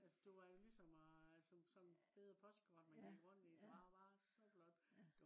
altså det var jo ligesom og at øh som sådan et øh postkort man gik rundt i. det var bare så flot